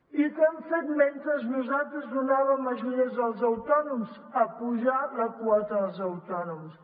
i què han fet mentre nosaltres donàvem ajudes als autònoms apujar la quota dels autònoms